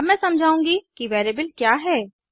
अब मैं समझाउंगी कि वेरिएबल क्या है160